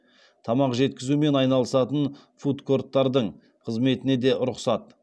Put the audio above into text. тамақ жеткізумен айналысатын фудкорттардың қызметіне де рұқсат